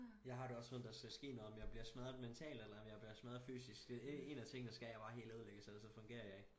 Jeg har det også som om der skal ske noget om jeg bliver smadret mentalt eller om jeg bliver smadret fysisk en en af tingene skal jeg bare helt ødelægges ellers fungerer jeg ikke